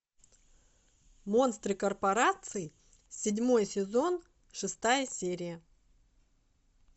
монстры корпораций седьмой сезон шестая серия